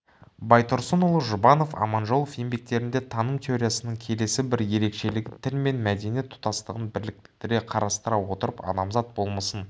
байтұрсынұлы жұбанов аманжолов еңбектерінде таным теориясының келесі бір ерекшелігі тіл мен мәдениет тұтастығын бірлікте қарастыра отырып адамзат болмысын